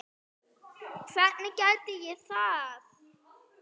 Hvernig gæti ég það?